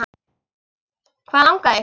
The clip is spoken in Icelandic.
Hvað langar þig?